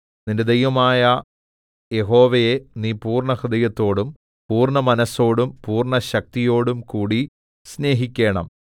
നിന്റെ ദൈവമായ യഹോവയെ നീ പൂർണ്ണഹൃദയത്തോടും പൂർണ്ണമനസ്സോടും പൂർണ്ണശക്തിയോടും കൂടി സ്നേഹിക്കേണം